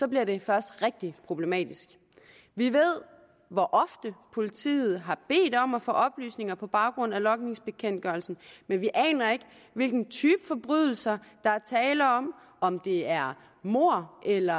bliver det først rigtig problematisk vi ved hvor ofte politiet har bedt om at få oplysninger på baggrund af logningsbekendtgørelsen men vi aner ikke hvilken type forbrydelser der er tale om om det er mord eller